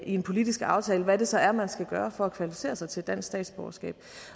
i en politisk aftale nemlig hvad det så er man skal gøre for at kvalificere sig til dansk statsborgerskab